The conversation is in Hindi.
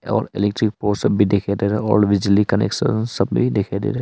और इलेक्ट्रिक पोर्शन भी दिखाई दे रहा और बिजली कनेक्शन सब भी दिखाई दे रहा--